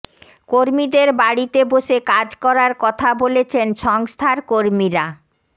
কর্মীদের বাড়িতে বসে কাজ করার কথা বলেছেন সংস্থার কর্মীরা